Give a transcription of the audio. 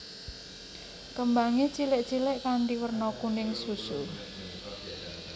Kembange cilik cilik kanthi werna kuning susu